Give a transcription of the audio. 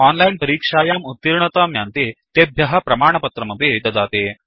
ये ओनलाइन् परीक्षायां उत्तीर्णतां यान्ति तेभ्यः प्रमाणपत्रमपि ददाति